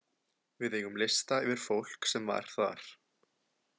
Við eigum lista yfir fólk sem var þar.